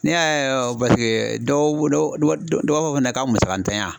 Ne y'a ye dɔw bolo dɔw b'a fɔ fɛnɛ k'a musaka ntanya.